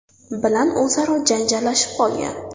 bilan o‘zaro janjallashib qolgan.